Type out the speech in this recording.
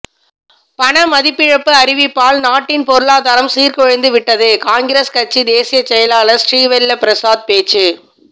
பணமதிப்பிழப்பு அறிவிப்பால் நாட்டின் பொருளாதாரம் சீர்குலைந்து விட்டது காங்கிரஸ் கட்சி தேசிய செயலாளர் ஸ்ரீவெல்லபிரசாத் பேச்சு